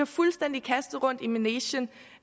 fuldstændig rundt i manegen